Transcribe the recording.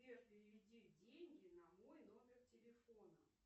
сбер переведи деньги на мой номер телефона